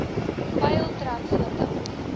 peil trek voordat